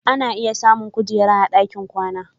Ana iya samun ƙujera a dakin kwana.